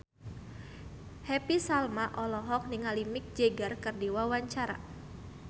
Happy Salma olohok ningali Mick Jagger keur diwawancara